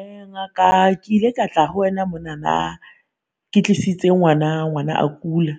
Uh Ngaka ke ile ka tla ho wena monana ke tlisitse ngwana, ngwana a kula.